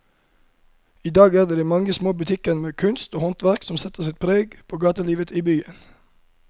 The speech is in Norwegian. I dag er det de mange små butikkene med kunst og håndverk som setter sitt preg på gatelivet i byen.